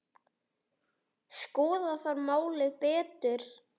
Skoða þarf málið betur.